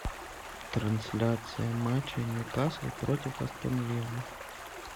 трансляция матча ньюкасл против астон виллы